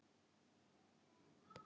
Við getum sagt tvær stuttar sögur af því.